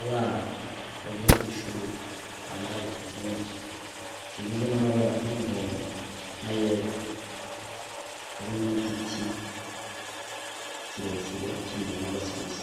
abana bagiye kwishuri bambaye impuzu zigizwe n'amabara y’umuhondo nayera, harimwo n'igiti kirekire camababi y'urwatsi rubisi.